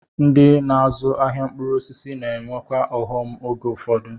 Ndị na-azụ ahịa mkpụrụ osisi na-enwekwa ọghọm oge ụfọdụ.